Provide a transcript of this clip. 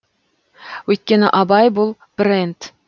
өйткені абай бұл бренд